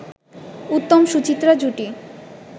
উত্তম-সুচিত্রা জুটি